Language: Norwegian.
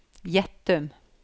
Gjettum